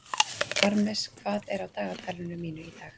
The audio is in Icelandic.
Parmes, hvað er á dagatalinu mínu í dag?